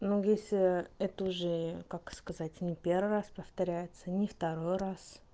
ну если это уже как сказать не первый раз повторяется не второй раз